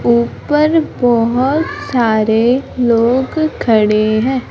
ऊपर बहोत सारे लोग खडे है।